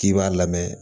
K'i b'a lamɛn